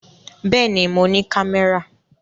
Bẹ́ẹ̀ ni, mo ní kámẹ́rà.